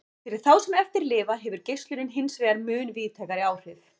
Fyrir þá sem eftir lifa hefur geislunin hinsvegar mun víðtækari áhrif.